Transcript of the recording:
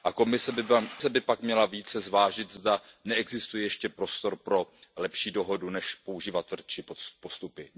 Komise by pak měla více zvážit, zda neexistuje ještě prostor pro lepší dohodu než používat tvrdší postupy.